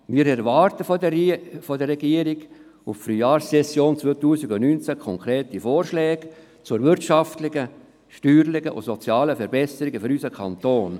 Wir erwarten von der Regierung auf die Frühlingssession 2019 hin konkrete Vorschläge zu wirtschaftlichen, steuerlichen und sozialen Verbesserungen für unseren Kanton.